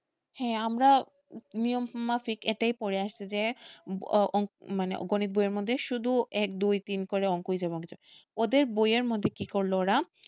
হ্যাঁ আমরা নিয়ম মাফিক এটাই পরে আসছি যে মানে গণিত বইয়ের মধ্যে শুধু এক দুই তিন করে ওদের বইয়ের মধ্যে কি করলো ওরা